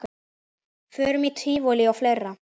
Förum í tívolí og fleira.